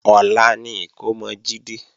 Ọ̀la ni ìkómọ Jídé